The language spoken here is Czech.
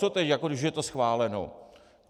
Co teď, když už je to schváleno?